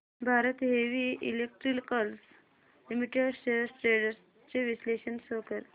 Bharat Heavy Electricals Limited shares trends चे विश्लेषण show कर